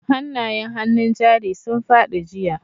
Hanayen hannun jari sun fadi jiya.